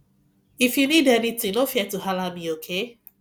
if you need anything no fear to halla me okay